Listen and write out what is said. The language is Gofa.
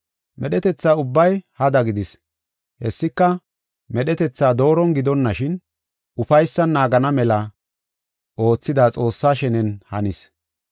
Medhetetha ubbay hada gidis; hessika, medhetetha dooron gidonashin, ufaysan naagana mela oothida Xoossaa shenen hanis.